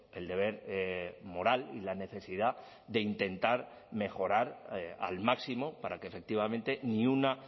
el deber moral y la necesidad de intentar mejorar al máximo para que efectivamente ni una